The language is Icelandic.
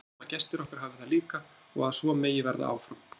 Við vonum að gestir okkar hafi það líka og að svo megi verða áfram.